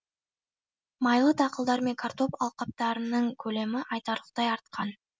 майлы дақылдар мен картоп алқаптарының көлемі айтарлықтай артқан